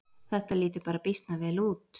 Þetta lítur bara býsna vel út